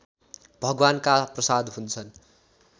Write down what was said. भगवानका प्रसाद हुन्छन्